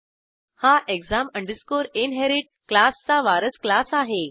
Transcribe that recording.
हा exam inherit क्लासचा वारस क्लास आहे